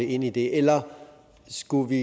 ind i det eller skulle vi